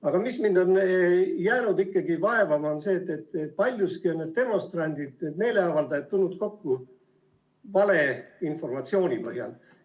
Aga mind on jäänud ikkagi vaevama see, et paljuski on need demonstrandid ja meeleavaldajad tulnud kokku valeinformatsiooni põhjal.